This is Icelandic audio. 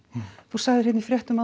þú sagðir í fréttum